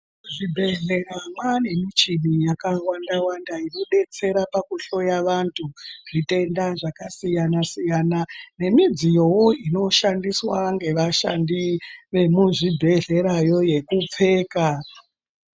Muzvibhedhlera mwaane michini yakawanda wanda inodetsera pakuhloya vantu zvitenda zvakasiyana siyana nemidziyowo inoshandiswa ngevashandi muzvibhedhlera yo yekupfeka.